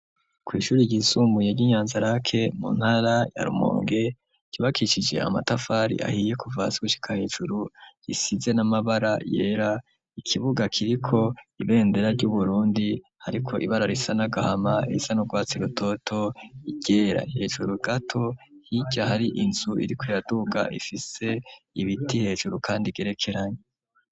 Ku ishuri ryisumbuye ryi Nyanzarake mu ntara ya Rumonge cubakishije amatafari ahiye kuva hasi gushika hejuru risize n'amabara yera ikibuga kiriko ibendera ryu Burundi hariko ibara risa n'agahama irisa n'urwatsi rutoto iryera hejuru gato hirya hari inzu iriko iraduga ifise ibiti hejuru kandi igerekeranye.